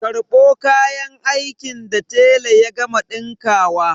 Karɓo kayan aikin da tela ya gama ɗinkawa!